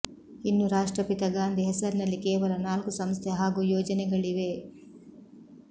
ಇನ್ನು ರಾಷ್ಟ್ರಪಿತ ಗಾಂಧಿ ಹೆಸರಿನಲ್ಲಿ ಕೇವಲ ನಾಲ್ಕು ಸಂಸ್ಥೆ ಹಾಗೂ ಯೋಜನೆಗಳಿವೆ